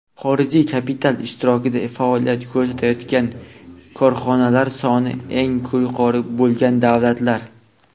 Xorijiy kapital ishtirokida faoliyat ko‘rsatayotgan korxonalar soni eng yuqori bo‘lgan davlatlar:.